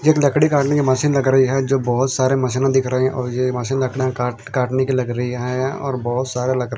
एक लकड़ी काटने कि मशीन लग रही है जो बहोत सारे मशीनों दिख रहे और यह मशीन रखने कांटने कि लग रही है और बहोत सारे लक--